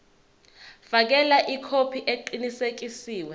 fakela ikhophi eqinisekisiwe